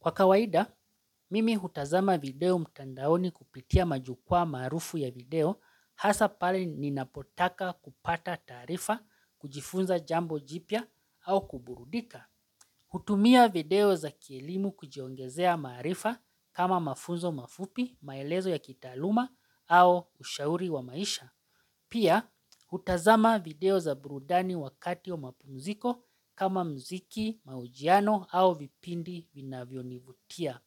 Kwa kawaida, mimi hutazama video mtandaoni kupitia majukwaa maarufu ya video hasa pale ninapotaka kupata taarifa, kujifunza jambo jipya au kuburudika. Hutumia video za kielimu kujiongezea maarifa ama mafunzo mafupi, maelezo ya kitaaluma au ushauri wa maisha. Pia hutazama video za burudani wakati wa mapumziko kama mziki mahojiano au vipindi vinavyonivutia.